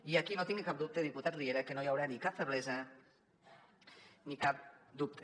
i aquí no tingui cap dubte diputat riera que no hi haurà ni cap feblesa ni cap dubte